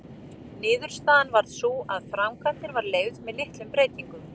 Niðurstaðan varð sú að framkvæmdin var leyfð með litlum breytingum.